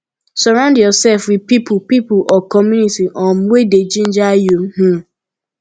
surround yourself with pipo pipo or community um wey dey ginger you um